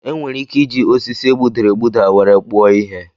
E nwere ike iji osisi egbudara egbuda were kpụọ ihe.